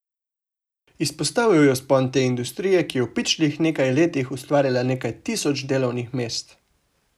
Izpostavil je vzpon te industrije, ki je v pičlih nekaj letih ustvarila nekaj tisoč delovnih mest.